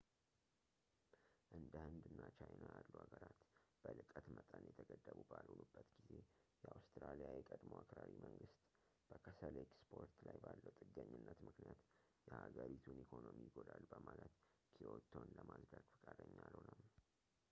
እንደ ህንድ እና ቻይና ያሉ ሀገራት በልቀት መጠን የተገደቡ ባልሆኑበት ጊዜ የአውስትራሊያ የቀድሞው አክራሪ መንግስት በከሰል ኤክስፖርት ላይ ባለው ጥገኝነት ምክንያት የሀገሪቱን ኢኮኖሚ ይጎዳል በማለት ክዮቶን ለማፅደቅ ፈቃደኛ አልሆነም